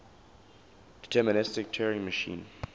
deterministic turing machine